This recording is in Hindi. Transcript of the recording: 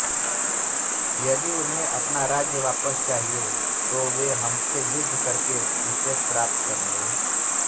यदि उन्हें अपना राज्य वापस चाहिये तो वे हमसे युद्ध करके उसे प्राप्त कर लें